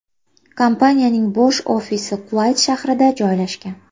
Kompaniyaning bosh ofisi Kuvayt shahrida joylashgan.